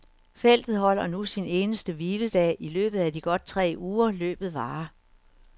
Feltet holder nu sin eneste hviledag i løbet af de godt tre uger, løbet varer.